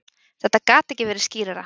Þetta gat ekki verið skýrara.